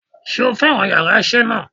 Sé o fẹ́ràn yàrá isé náà